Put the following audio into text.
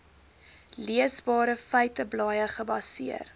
leesbare feiteblaaie gebaseer